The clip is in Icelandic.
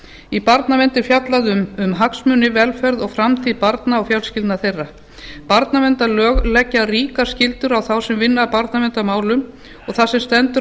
í barnavernd er fjallað um hagsmuni velferð og framtíð barna og fjölskyldna þeirra barnaverndarlög leggja ríkar skyldur á þá sem vinna að barnaverndarmálum og það sem stendur